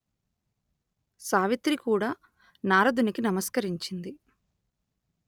సావిత్రి కూడా నారదునికి నమస్కరించింది